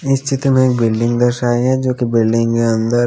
इस चित्र में बिल्डिंग दर्शाई हैं जो की बिल्डिंग ह अंदर--